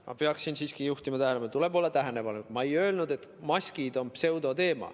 Ma pean siiski juhtima tähelepanu – tuleb olla tähelepanelik –, et ma ei öelnud, nagu maskid oleks pseudoteema.